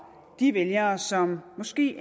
de vælgere som måske